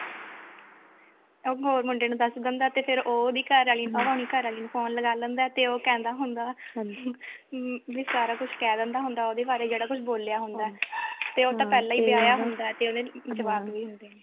ਇੱਕ ਹੋਰ ਮੁੰਡੇ ਨੂੰ ਦਸ ਦਿੰਦਾ ਤੇ ਫਿਰ ਉਹ ਉਹਦੀ ਘਰਵਾਲ਼ੀ ਨੂੰ ਫੋਨ ਲਗਾ ਲੈਂਦਾ ਤੇ ਉਹ ਕਹਿੰਦਾ ਹੁੰਦਾ ਵੀ ਸਾਰਾ ਕੁੱਝ ਕਹਿ ਦਿੰਦਾ ਉਹਦੇ ਬਾਰੇ ਜਿਹੜਾ ਕੁੱਝ ਬੋਲਿਆ ਹੁੰਦਾ ਤੇ ਉਹ ਤਾਂ ਪਹਿਲਾਂ ਹੀ ਵਿਆਹਿਆ ਹੁੰਦਾ ਤੇ ਉਹਦੇ ਜਵਾਕ ਵੀ ਹੁੰਦੇ ਨੇ